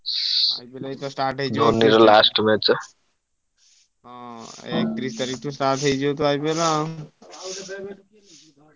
ମୁଁ କହିଲି ଏଇତ start ହେଇଯିବ ହୁଁ ଏଇ ଏକତିରିଶି ତାରିଖ ଠାରୁ start ହେଇଯିବ ତ IPL ।